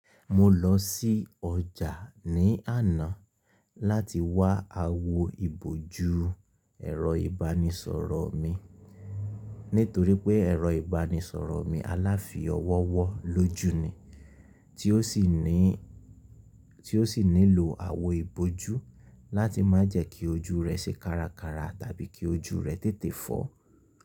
Mo lọ sí ọjà ni àná láti wá àwo ìbò ju ẹrọ ibanisọrọ mi, nítorí pé ẹ̀rọ ìbánisọ̀rọ̀ mi aláfi-owó wọ́ lójú ni, tí ó sì nílò àwo ìbòjú láti má jẹ kí ojú rẹ̀ ṣe kára kára tàbí kí ojú rẹ̀ tètè fọ́.